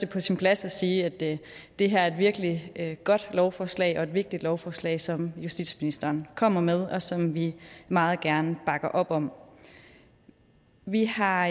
på sin plads at sige at det her er et virkelig godt lovforslag og et vigtigt lovforslag som justitsministeren kommet med og som vi meget gerne bakker op om vi har